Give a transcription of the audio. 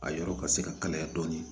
A yɔrɔ ka se ka kalaya dɔɔnin